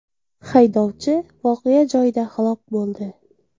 Haydovchi voqea joyida halok bo‘ldi.